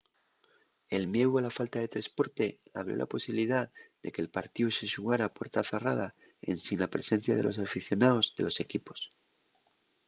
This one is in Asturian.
el mieu a la falta de tresporte abrió la posibilidá de que’l partíu se xugara a puerta zarrada ensin la presencia de los aficionaos de los equipos